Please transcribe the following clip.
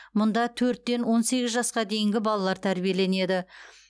мұнда төрттен он сегіз жасқа дейінгі балалар тәрбиеленеді